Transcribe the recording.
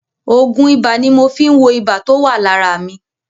Òògùn ibà ni mo fi ń wo ibà tó wà lára mi.